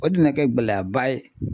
O dun na kɛ gɛlɛyaba ye.